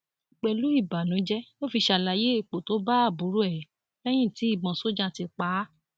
pẹlú ìbànújẹ ló fi ṣàlàyé ipò tó bá àbúrò ẹ lẹyìn tí ìbọn sójà ti pa á